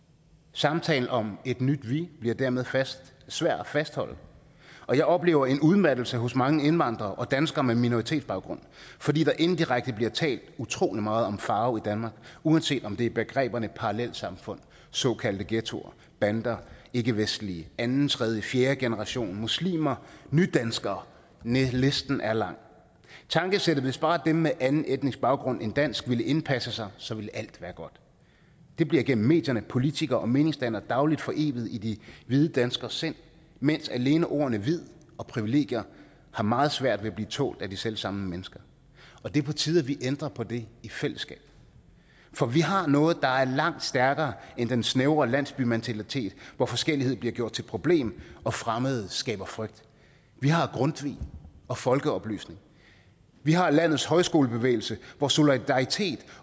samtalen om et nyt vi bliver dermed svært at fastholde og jeg oplever en udmattelse hos mange indvandrere og danskere med minoritetsbaggrund fordi der indirekte bliver talt utrolig meget om farve i danmark uanset om det er begreberne parallelsamfund såkaldte ghettoer bander ikkevestlige anden tredje fjerdegenerationsmuslimer nydanskere listen er lang tankesættet hvis bare dem med anden etnisk baggrund end dansk ville indpasse sig så ville alt være godt det bliver gennem medierne politikere og meningsdannere dagligt foreviget i de hvide danskeres sind mens alene ordene hvid og privilegier har meget svært ved at blive tålt af de selv samme mennesker og det er på tide at vi ændrer på det i fællesskab for vi har noget der er langt stærkere end den snævre landsbymentalitet hvor forskellighed bliver gjort til et problem og fremmede skaber frygt vi har grundtvig og folkeoplysning vi har landets højskolebevægelse hvor solidaritet